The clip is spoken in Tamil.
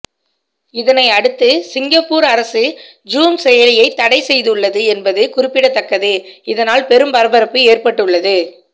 இதனை அடுத்து சிங்கப்பூர் அரசு ஜூம் செயலியை தடை செய்துள்ளது என்பது குறிப்பிடத்தக்கது இதனால் பெரும் பரபரப்பு ஏற்பட்டுள்ளது